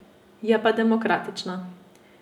Je pa demokratična.